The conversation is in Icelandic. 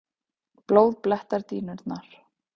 Blóð blettar dýnurnar.